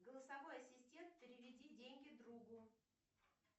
голосовой ассистент переведи деньги другу